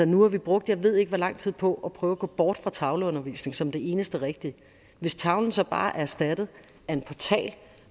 nu har vi brugt jeg ved ikke hvor lang tid på at prøve at gå bort fra tavleundervisning som det eneste rigtige hvis tavlen så bare er erstattet af en portal